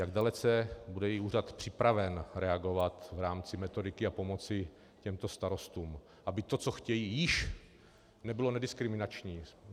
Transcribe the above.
Jak dalece bude její úřad připraven reagovat v rámci metodiky a pomoci těmto starostům, aby to, co chtějí, již nebylo nediskriminační?